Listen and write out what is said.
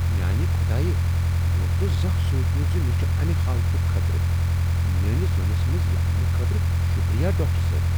میانہ خدایہ! مےٚ اوس نہٕ زانہہ سوچمت ز مےٚ چھ امہ حالتک خطرٕ۔ میٲنس زۄنس منٛز یہ اننہٕ خٲطرٕ شکریہ، ڈاکٹر صٲب۔